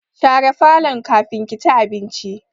Share falon kafin ki ci abinci!